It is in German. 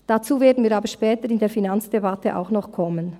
Dazu werden wir aber später in der Finanzdebatte auch noch kommen.